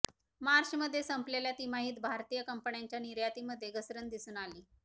मार्चमध्ये संपलेल्या तिमाहीत भारतीय कंपन्यांच्या निर्यातीमध्ये घसरण दिसून आली